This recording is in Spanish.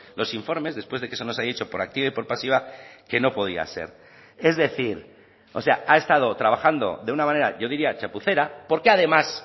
los informes después de que se nos ha dicho por activa y por pasiva que no podía ser es decir o sea ha estado trabajando de una manera yo diría chapucera porque además